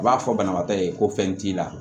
U b'a fɔ banabaatɔ ye ko fɛn t'i la